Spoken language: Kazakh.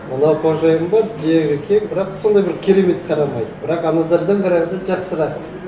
мына қожайын да жері кең бірақ сондай бір керемет қарамайды бірақ аналардан қарағанда жақсырақ